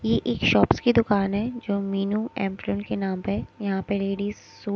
ये एक शॉप्स की दुकान है जो मीनू एमप्रिल के नाम पे यहां पे लेडिस सू--